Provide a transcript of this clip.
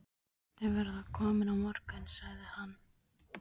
Þau verða komin á morgun, sagði hann.